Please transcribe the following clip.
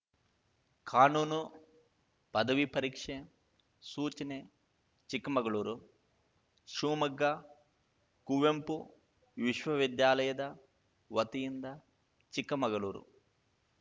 ಕಾನೂನು ಪದವಿ ಪರೀಕ್ಷೆ ಸೂಚನೆ ಚಿಕ್ಕಮಗಳೂರು ಶಿವಮೊಗ್ಗ ಕುವೆಂಪು ವಿಶ್ವವಿದ್ಯಾಲಯದ ವತಿಯಿಂದ ಚಿಕ್ಕಮಗಳೂರು